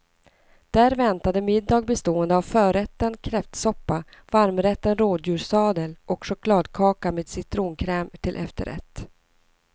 Där väntade middag bestående av förrätten kräftsoppa, varmrätten rådjurssadel och chokladkaka med citronkräm till efterrätt.